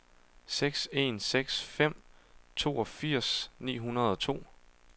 seks en seks fem toogfirs ni hundrede og to